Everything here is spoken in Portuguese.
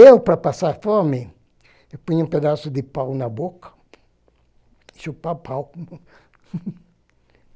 Eu, para passar a fome, punha um pedaço de pau na boca, chupa o pau.